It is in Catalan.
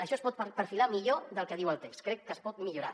això es pot perfilar millor del que diu el text crec que es pot millorar